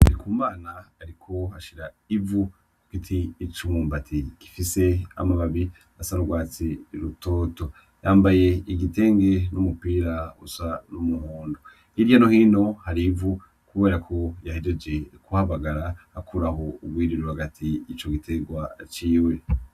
NDIKUMANA ariko ashira ivu ku giti c‘ umwumbati gifise amababi asa n‘ urwatsi rutoto yambaye igitenge n‘ umupira usa n‘ umuhondo. Hirya no hino hari ivu kubera ko yahejeje kuhabagara akuraho urwiri ruri hagati y‘ ico gitegwa ciwe .